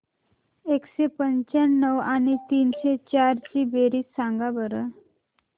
एकशे पंच्याण्णव आणि तीनशे चार ची बेरीज सांगा बरं